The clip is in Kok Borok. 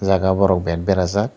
jaga o borok bet berajak.